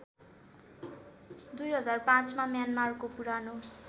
२००५ मा म्यानमारको पुरानो